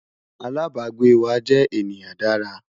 alábágbé wà jé ènìyàn Dára